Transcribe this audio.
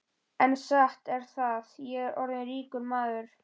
En satt er það, ég er orðinn ríkur maður.